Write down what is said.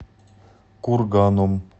курганом